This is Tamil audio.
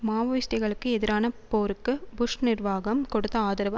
மாவோயிஸ்ட்டுக்களுக்கு எதிரான போருக்கு புஷ் நிர்வாகம் கொடுத்த ஆதரவு